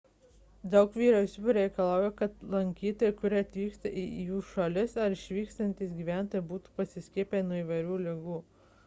daug vyriausybių reikalauja kad lankytojai kurie atvyksta į jų šalis ar išvykstantys gyventojai būtų pasiskiepiję nuo įvairių ligų